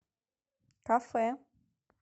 кафе